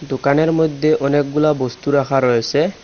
দোকানের মইধ্যে অনেকগুলা বস্তু রাখা রয়েসে।